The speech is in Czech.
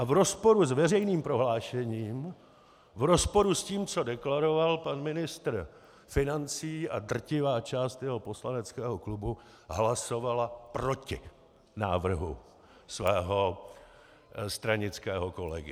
A v rozporu s veřejným prohlášením, v rozporu s tím, co deklaroval pan ministr financí a drtivá část jeho poslaneckého klubu, hlasovala proti návrhu svého stranického kolegy.